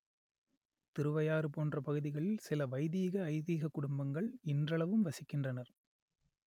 திருவையாறு போன்ற பகுதிகளில் சில வைதீக ஐதீகக் குடும்பங்கள் இன்றளவும் வசிக்கின்றனர்